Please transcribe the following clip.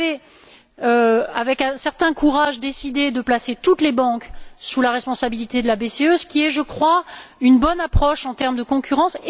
Vous avez, avec un certain courage, décidé de placer toutes les banques sous la responsabilité de la BCE, ce qui est, je crois, une bonne approche en termes de concurrence.